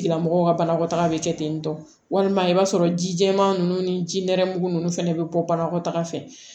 Tigilamɔgɔw ka banakɔtaga bɛ kɛ ten tɔ walima i b'a sɔrɔ ji jɛman ninnu ni ji nɛrɛmugu ninnu fana bɛ bɔ banakɔtaga fɛ